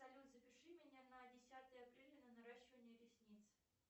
салют запиши меня на десятое апреля на наращивание ресниц